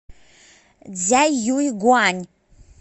цзяюйгуань